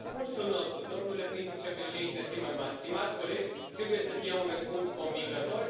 Iar răspunsul nostru, domnule prim vicepreședinte Timmermans, stimați colegi, trebuie să fie un răspuns convingător.